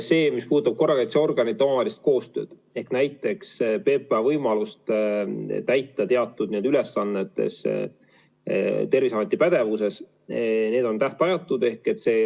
See, mis puudutab korrakaitseorganite omavahelist koostööd ehk näiteks PPA võimalust täita teatud ülesandeid Terviseameti pädevuses, siis need on tähtajatud.